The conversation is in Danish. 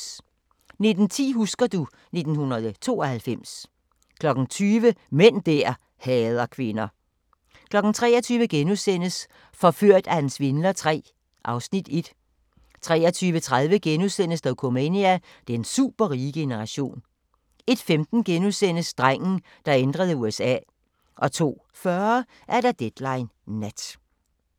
19:10: Husker du ... 1992 20:00: Mænd der hader kvinder 23:00: Forført af en svindler III (Afs. 1)* 23:30: Dokumania: Den superrige generation * 01:15: Drengen, der ændrede USA * 02:40: Deadline Nat